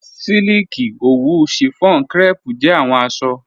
Silikì, owù, chiffon, crêpe jẹ awọn aṣọ